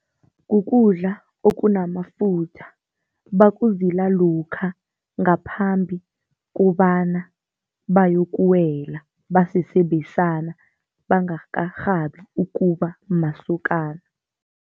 Kukudla okunamafutha, bakuzila lokha ngaphambi kobana bayokuwela basese besana, bangakarhabi ukuba masokana.